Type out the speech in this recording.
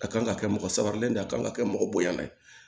A kan ka kɛ mɔgɔ sabalilen de ye a kan ka kɛ mɔgɔ bonyanana ye